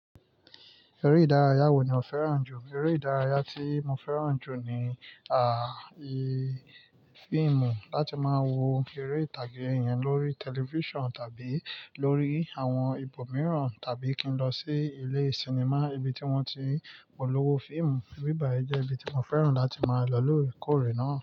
Eré ìdárayá wo ni o fẹ́ràn jù? Eré ìdárayá tí mo fẹ́ràn jù ni, à, i fíìmù. Láti máa wo eré ìtàgé yẹn lórí tẹlifíṣàn tàbí lórí àwọn ibòmíràn tàbí kí n lọ sí ilé sinimá ibi tí wọ́n ti ń polówó fíìmù. Ibí báyìí jẹ́ ibi tí mo fẹ́ràn láti máa lọ lòri kórè náà.